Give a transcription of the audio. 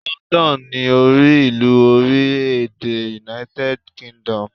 London ni orí ìlú orílè èdè United Kingdom